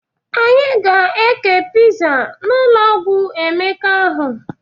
Anyị ga-ékè piza n'ụlọ ọgwụ ụmụaka ahụ.